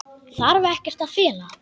Þarf ekkert að fela.